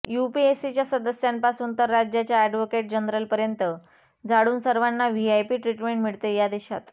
युपीएससीच्या सदस्यांपासून तर राज्याच्या अॅडव्होकेट जनरलपर्यंत झाडून सर्वांना व्हीआयपी ट्रीटमेंट मिळते या देशात